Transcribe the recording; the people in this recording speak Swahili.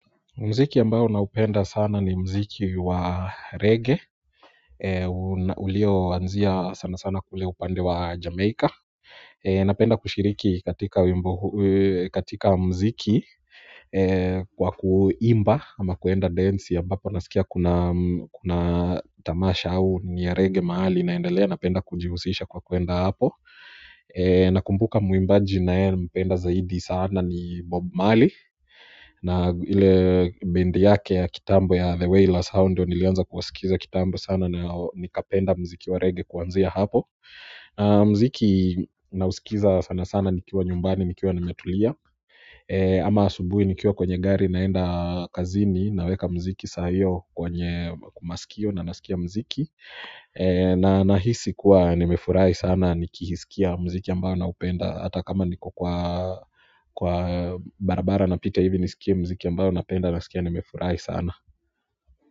Muziki ambao naupenda sana ni muziki wa reggae ulio anzia sana sana kule upande wa Jamaica. Napenda kushiriki katika muziki kwa kuimba ama kuenda dance ambapo nasikia kuna tamasha au ni ya reggae mahali inaendelea napenda kujihusisha kwa kuenda hapo na kumbuka muimbaji nayempenda zaidi sana ni Bob Marley na ile bindi yake ya kitambo ya The Wayla Sound ndio nilianza kusikiza kitambo sana na nikapenda muziki wa reggae kuanzia hapo na muziki nausikiza sana sana nikiwa nyumbani nikiwa nimetulia ama asubuhi nikiwa kwenye gari naenda kazini naweka muziki sahio kwenye masikio na nasikia muziki na nahisi kuwa nimefurahi sana nikiusikia muziki ambao na upenda hata kama niko kwa barabara na pita hivi ni sikie muziki ambayo na penda na sikia ni mefurahi sana.